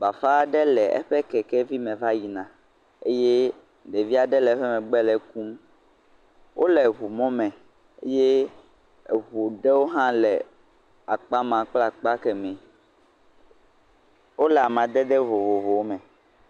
Bafa aɖe le eƒe kekevi me va yina eye ɖevi aɖe le eƒe megbe le ekum. Wole eŋɔ mɔ me eye eŋu ɖe hã le akpa ma kple akpa kemɛ. Wole amadede vovovowo me.